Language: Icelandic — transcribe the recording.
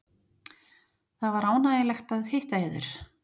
Það var ánægjulegt að hitta yður.